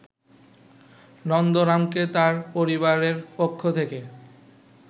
নন্দরামকে তার পরিবারেরপক্ষ থেকে